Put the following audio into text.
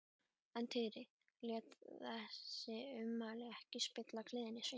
En Týri lét þessi ummæli ekki spilla gleði sinni.